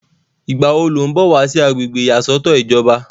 ìgbà wo ló ń bọ̀ wá sí agbègbè ìyàsọ́tọ̀ ìjọba?